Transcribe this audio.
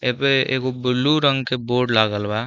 एहपे एगो बुल्लु रंग के बोर्ड लागल बा।